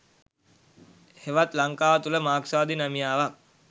හෙවත් ලංකාව තුළ මාක්ස්වාදී නැමියාවක්